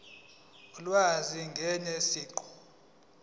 ulwazi ngaye siqu